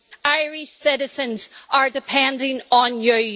Irish citizens are depending on you.